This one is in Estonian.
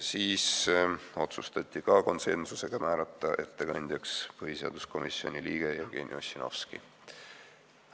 Siis otsustati, ka konsensusega, määrata ettekandjaks põhiseaduskomisjoni liige Jevgeni Ossinovski.